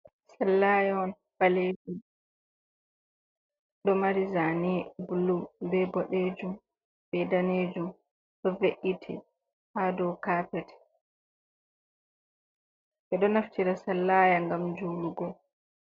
Sallaya ɓalejum do mari zane bulu(blue) be boɗejum, be danejum ɗo ve’iti ha dou carpet ɓedo naftira sallaya ngam julugo.